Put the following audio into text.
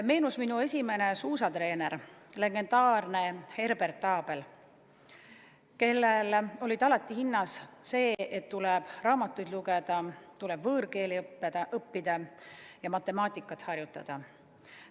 Meenus minu esimene suusatreener, legendaarne Herbert Abel, kelle silmis oli alati hinnas see, et tuleb raamatuid lugeda, tuleb võõrkeeli õppida ja matemaatikat harjutada.